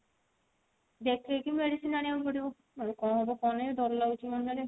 ଦେଖେଇକି medicine ଆଣିବାକୁ ପଡିବ ନହେଲେ କଣ ହବ କଣ ନାଇଁ ଦର ଲାଗୁଛି ମନ ରେ